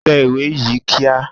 Tẹ ìwé yìí kíá!